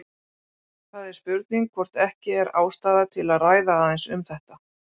Það er spurning hvort ekki er ástæða til að ræða aðeins um þetta.